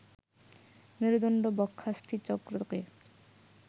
মেরুদণ্ড বক্ষাস্থিচক্রকে